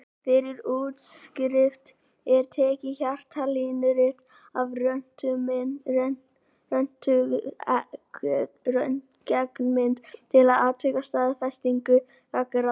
Fyrir útskrift er tekið hjartalínurit og röntgenmynd til að athuga staðsetningu gangráðsins.